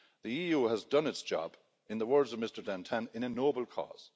The EU has done its job, in the words of Mr Dantin, in a noble cause.